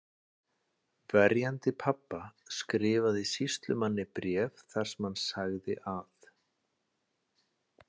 Verjandi pabba skrifaði sýslumanni bréf þar sem hann sagði að